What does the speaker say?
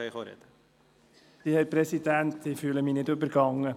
Herr Präsident, ich fühle mich nicht übergangen.